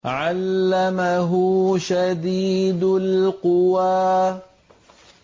عَلَّمَهُ شَدِيدُ الْقُوَىٰ